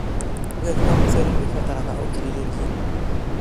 ũgethi wa mũcere nĩũbatara ũkirĩrĩria